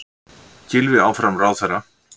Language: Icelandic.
Gylfi áfram ráðherra